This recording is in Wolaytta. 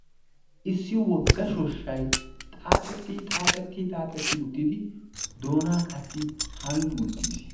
issi wogga shooshshay xaaxxeti xaaxxeti xaaxxeti uttidi doonay qassi hanggi uttiis